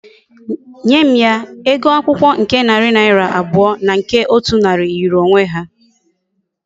Nye m ya! Ego akwukwo nke nari naira abuo na nke otu nari yiri onwe ha